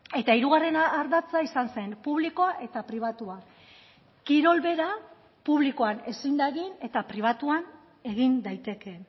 eta hirugarren ardatza izan zen publikoa eta pribatua kirol bera publikoan ezin da egin eta pribatuan egin daiteke